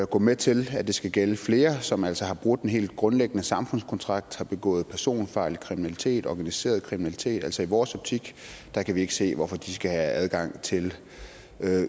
gå med til at det skal gælde flere som altså har brudt en helt grundlæggende samfundskontrakt har begået personfarlig kriminalitet og organiseret kriminalitet altså i vores optik kan vi ikke se hvorfor de skal have adgang til